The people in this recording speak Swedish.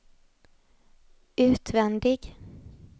utvändig